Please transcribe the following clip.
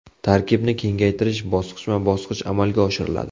Tarkibni kengaytirish bosqichma-bosqich amalga oshiriladi.